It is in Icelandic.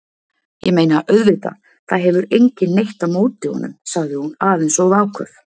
Ég meina, auðvitað, það hefur enginn neitt á móti honum- sagði hún, aðeins of áköf.